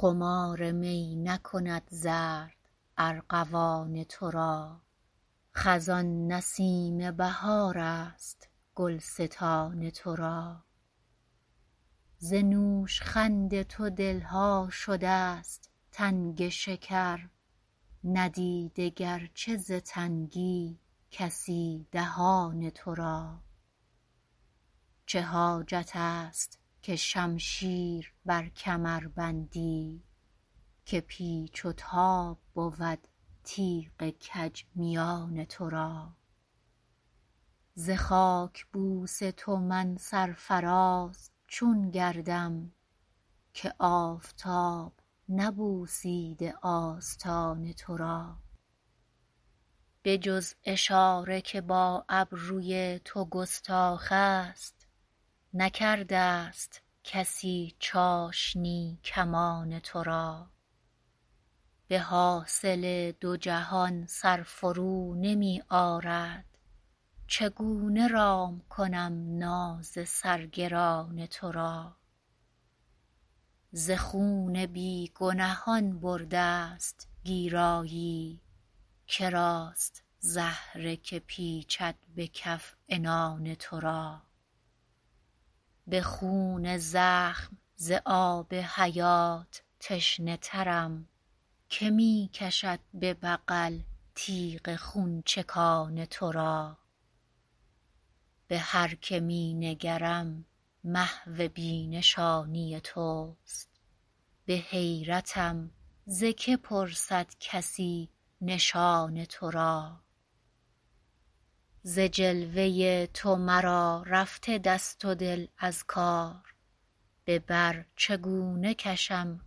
خمار می نکند زرد ارغوان ترا خزان نسیم بهارست گلستان ترا ز نوشخند تو دلها شده است تنگ شکر ندیده گرچه ز تنگی کسی دهان ترا چه حاجت است که شمشیر بر کمر بندی که پیچ و تاب بود تیغ کج میان ترا ز خاکبوس تو من سرفراز چون گردم که آفتاب نبوسیده آستان ترا به جز اشاره که با ابروی تو گستاخ است نکرده است کسی چاشنی کمان ترا به حاصل دو جهان سر فرو نمی آرد چگونه رام کنم ناز سر گران ترا ز خون بیگنهان برده است گیرایی کراست زهره که پیچد به کف عنان ترا به خون زخم ز آب حیات تشنه ترم که می کشد به بغل تیغ خونچکان ترا به هر که می نگرم محو بی نشانی توست به حیرتم ز که پرسد کسی نشان ترا ز جلوه تو مرا رفته دست و دل از کار به بر چگونه کشم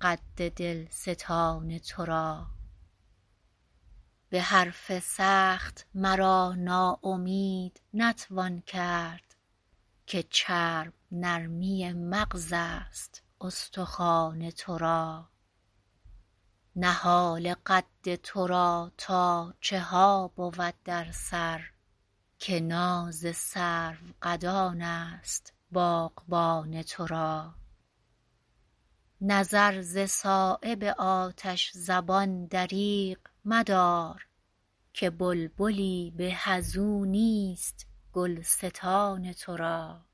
قد دلستان ترا به حرف سخت مرا ناامید نتوان کرد که چرب نرمی مغزست استخوان ترا نهال قد ترا تا چها بود در سر که ناز سرو قدان است باغبان ترا نظر ز صایب آتش زبان دریغ مدار که بلبلی به ازو نیست گلستان ترا